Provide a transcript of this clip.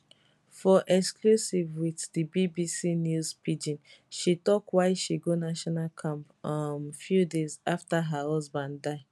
for exclusive wit di bbc news pidgin she tok why she go national camp um few days afta her husband die